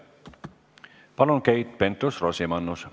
Palun, Keit Pentus-Rosimannus!